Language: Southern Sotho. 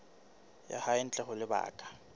ya hae ntle ho lebaka